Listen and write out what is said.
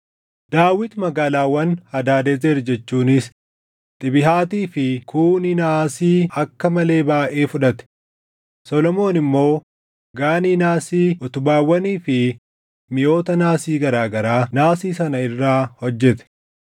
Daawit magaalaawwan Hadaadezer jechuunis Xibihaatii fi Kuuni naasii akka malee baayʼee fudhate; Solomoon immoo Gaanii naasii, utubaawwanii fi miʼoota naasii garaa garaa naasii sana irraa hojjete.